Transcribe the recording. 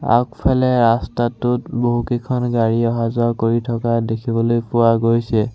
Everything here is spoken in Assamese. আগফালে ৰাস্তাটোত বহুকেইখন গাড়ী অহা যোৱা কৰি থকা দেখিবলৈ পোৱা গৈছে।